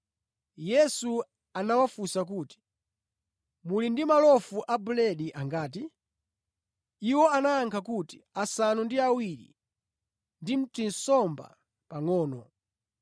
Yesu anawafunsa kuti, “Muli ndi malofu a buledi angati?” Iwo anayankha kuti, “Asanu ndi awiri ndi tinsomba pangʼono.”